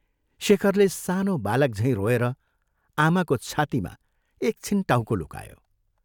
शेखरले सानो बालक झैं रोएर आमाको छातीमा एकछिन टाउको लुकायो।